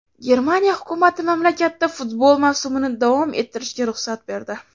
Germaniya hukumati mamlakatda futbol mavsumini davom ettirishga ruxsat berdi.